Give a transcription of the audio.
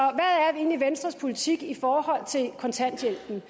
egentlig venstres politik i forhold til kontanthjælpen